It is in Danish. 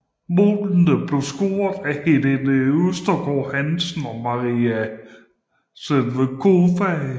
Målene blev scoret af Helene Østergaard Hansen og Maria Sevcikova